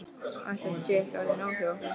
Ætli þetta sé ekki orðið nóg hjá okkur.